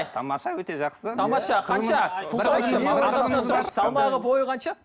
тамаша өте жақсы тамаша қанша салмағы бойы қанша